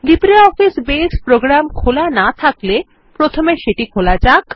LibreOffice Base program খোলা না থাকলে প্রথমে সেটি খোলা যাক